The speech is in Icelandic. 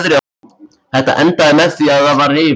Þetta endaði með því að það var rifið.